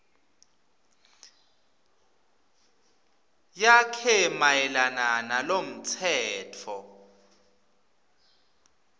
yakhe mayelana nalomtsetfo